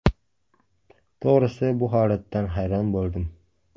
To‘g‘risi, bu holatdan hayron bo‘ldim.